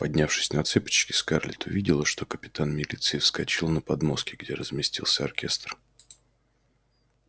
поднявшись на цыпочки скарлетт увидела что капитан милиции вскочил на подмостки где разместился оркестр